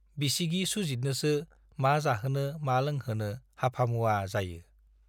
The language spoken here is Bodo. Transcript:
बिसिगि सुजितनोसो मा जाहोनो मा लोंहोनो हाफामुवा जायो।